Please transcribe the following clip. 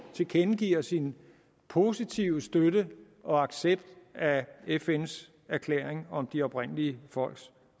tilkendegiver sin positive støtte og accept af fns erklæring om de oprindelige folks